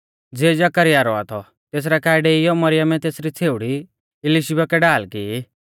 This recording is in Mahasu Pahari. ज़िऐ जकरयाह रौआ थौ तेसरै काऐ डेइयौ मरियमै तेसरी छ़ेउड़ी इलिशीबा कै ढाल की